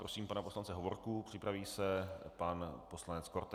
Prosím pana poslance Hovorku, připraví se pan poslanec Korte.